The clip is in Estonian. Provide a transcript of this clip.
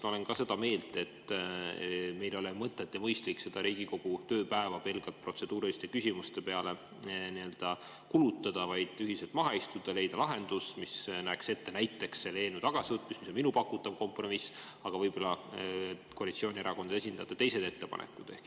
Ma olen ka seda meelt, et meil ei ole mõtet ega mõistlik Riigikogu tööpäeva pelgalt protseduuriliste küsimuste peale kulutada, vaid tuleks ühiselt maha istuda ja leida lahendus, mis näeks ette näiteks selle eelnõu tagasivõtmist, mis on minu pakutav kompromiss, aga võib-olla on koalitsioonierakondade esindajatel teised ettepanekud.